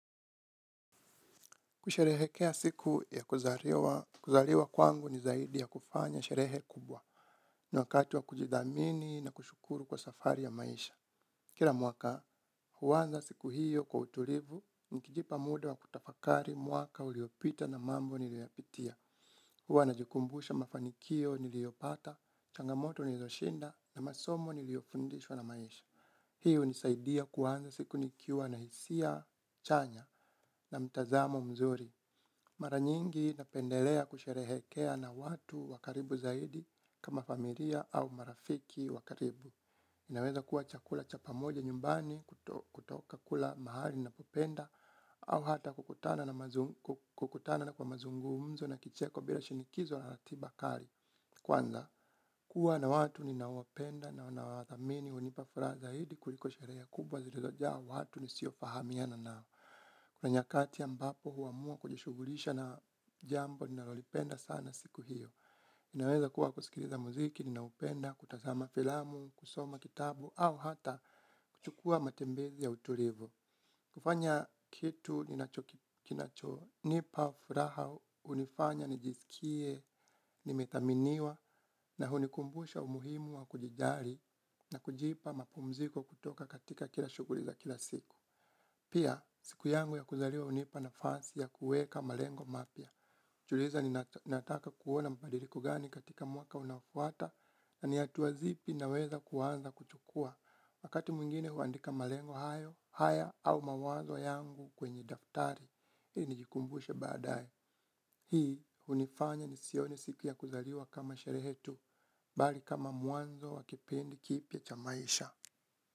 Kusherehekea siku ya kuzaliwa kwangu ni zaidi ya kufanya sherehe kubwa ni wakati wa kujidhamini na kushukuru kwa safari ya maisha. Kila mwaka, huanza siku hiyo kwa utulivu, nikijipa muda wa kutafakari mwaka uliopita na mambo niliyoyapitia. Huwa najikumbusha mafanikio niliopata, changamoto nilizoshinda na masomo niliyofundishwa na maisha. Hiyo hunisaidia kuanza siku nikiwa na hisia chanya na mtazamo mzuri. Mara nyingi napendelea kusherehekea na watu wa karibu zaidi kama familia au marafiki wa karibu. Inaweza kuwa chakula cha pamoja nyumbani kutoka kula mahali napopenda au hata kukutana na kwa mazungumzo na kicheko bila shinikizo na ratiba kali. Kwanza, kuwa na watu ninaowapenda na ninaowathamini hunipa furaha zaidi kuliko sherehe kubwa zilizojaa watu nisiofahamiana nao. Kuna nyakati ambapo huamua kujishughulisha na jambo, ninalolipenda sana siku hiyo. Inaweza kuwa kusikiliza muziki, ninaoupenda, kutazama filamu, kusoma kitabu, au hata kuchukua matembezi ya utulivu. Kufanya kitu, kinachonipa furaha, hunifanya nijisikie nimethaminiwa, na hunikumbusha umuhimu wa kujijali, na kujipa mapumziko kutoka katika kila shughuli za kila siku. Pia, siku yangu ya kuzaliwa hunipa nafasi ya kuweka malengo mapya. Najiuliza nataka kuona mabadiliko gani katika mwaka unaofuata na ni hatua zipi naweza kuanza kuchukua. Wakati mwingine huandika malengo haya au mawazo yangu kwenye daftari, ii nijikumbushe baadaye. Hii, hunifanya nisioni siku ya kuzaliwa kama sherehe tu, bali kama mwanzo wa kipindi kipya cha maisha.